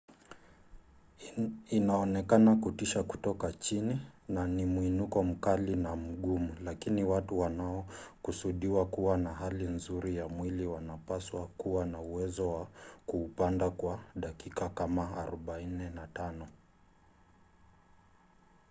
inaonekana kutisha kutoka chini na ni mwinuko mkali na mgumu lakini watu wanaokusudiwa kuwa na hali nzuri ya mwili wanapaswa kuwa na uwezo wa kuupanda kwa dakika kama 45